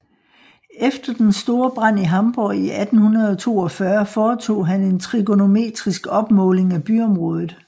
Efter den store brand i Hamborg i 1842 foretog han en trigonometrisk opmåling af byområdet